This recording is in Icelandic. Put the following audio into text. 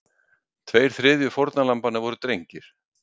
Tveir þriðju fórnarlambanna voru drengir